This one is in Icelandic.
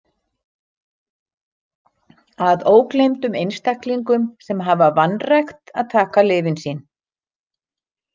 Að ógleymdum einstaklingum sem hafa vanrækt að taka lyfin sín.